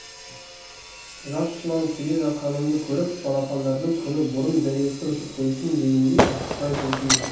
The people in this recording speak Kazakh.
жас жылан келе жатқанымды көріп балапандардың күні бұрын зәресі ұшып өлсін дегендей асықпай жылжиды